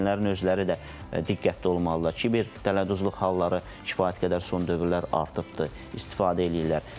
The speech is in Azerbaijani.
Valideynlərin özləri də diqqətli olmalıdırlar ki, kibertələduzluq halları kifayət qədər son dövrlər artıbdır, istifadə eləyirlər.